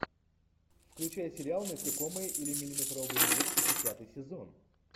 включай сериал насекомые или миллиметровый мир десятый сезон